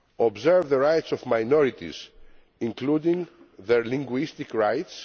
observe the rights of minorities, including their linguistic rights